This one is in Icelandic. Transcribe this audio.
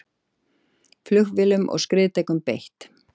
Flugvélum og skriðdrekum beitt